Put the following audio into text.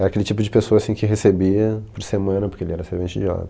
Era aquele tipo de pessoa assim que recebia por semana, porque ele era servente de obra